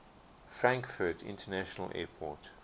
frankfurt international airport